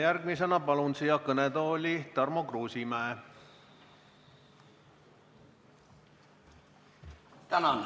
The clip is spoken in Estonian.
Järgmisena palun siia kõnetooli Tarmo Kruusimäe!